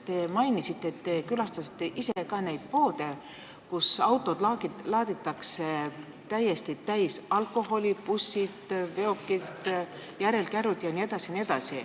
Te mainisite, et te külastasite ise neid poode, kus autod laaditakse täiesti täis alkoholi, seal on bussid, veokid, järelkärud jne.